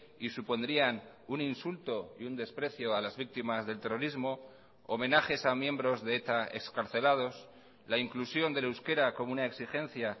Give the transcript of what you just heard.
y supondrían un insulto y un desprecio a las víctimas del terrorismo homenajes a miembros de eta excarcelados la inclusión del euskera como una exigencia